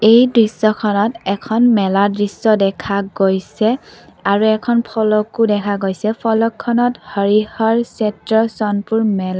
এই দৃশ্যখনত এখন মেলাৰ দৃশ্য দেখা গৈছে আৰু এখন ফলকো দেখা গৈছে ফলকখনত হৰি হৰ চ'নপুৰ মেলা--